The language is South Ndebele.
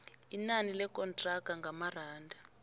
inani lekontraga ngamaranda